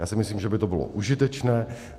Já si myslím, že by to bylo užitečné.